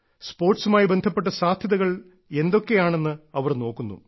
സ്പോർട്സുമായി ബന്ധപ്പെട്ട സാധ്യതകൾ എന്തൊക്കെയാണെന്ന് അവർ നോക്കുന്നു